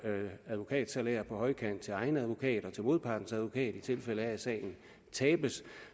advokatsalær på højkant til egen advokat og til modpartens advokat i tilfælde af at sagen tabes